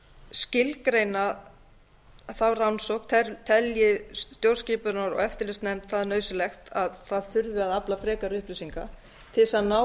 skilgreina þá rannsókn telji stjórnskipunar og eftirlitsnefnd það nauðsynlegt að það þurfi að afla frekari upplýsingar til þess að ná